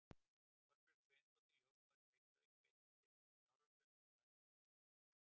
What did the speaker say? Þorbjörg Sveinsdóttir, ljósmóðir í Reykjavík, beitti sér fyrir fjársöfnun til væntanlegs háskóla.